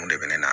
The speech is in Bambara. Mun de bɛ ne na